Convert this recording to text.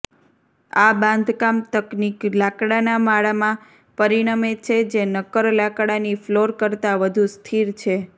આ બાંધકામ તકનીક લાકડાના માળમાં પરિણમે છે જે નક્કર લાકડાની ફ્લોર કરતાં વધુ સ્થિર છે